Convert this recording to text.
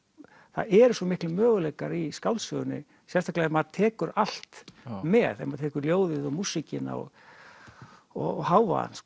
það eru svo miklir möguleikar í skáldsögunni sérstaklega ef maður tekur allt með ef maður tekur ljóðið og músíkina og og hávaðann